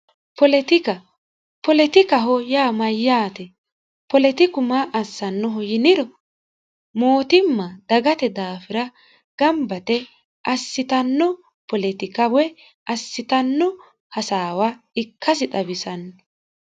poletikaho yaa mayyaate poletiku maa assannoho yiniro mootimma dagate daafira gambate assitanno poletika woy assitanno hasaawa ikkasi xawisanno